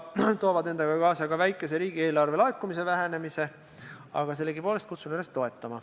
Need toovad küll endaga kaasa ka väikese riigieelarve laekumise vähenemise, aga sellegipoolest kutsun üles toetama.